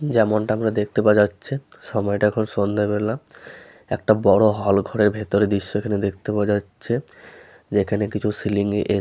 যেমন টা আমরা দেখতে পাওয়া যাচ্ছে সময় টা এখন সন্ধে বেলা একটা বড়ো হলঘরের ভেতরে দৃশ্য খানি দেখতে পাওয়া যাচ্ছে যেখানে কিছু সিলিং -এ